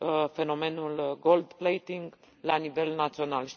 fenomenul goldplating la nivel național.